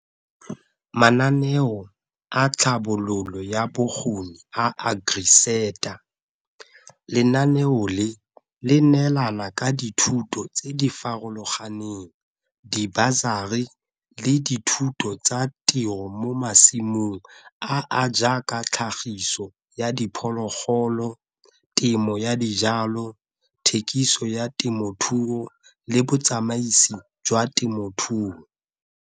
Mananeo a tlhabololo ya bokgoni a AgriSETA. Lenaneo le, le neelana ka dithuto tse di farologaneng di-busary le dithuto tsa tiro mo masimong a a jaaka tlhagiso ya diphologolo, temo ya dijalo, thekiso ya temothuo, le botsamaisi jwa temothuo.